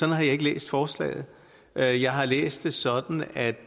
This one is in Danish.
jeg ikke læst forslaget jeg jeg har læst det sådan at